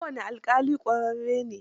Kowane alƙali ƙwararre ne.